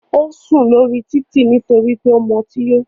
Ó sùn lórí títì nítorí pé ó mu ọtí yó.